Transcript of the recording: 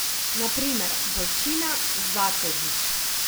Na primer Bolčina, Zatežič...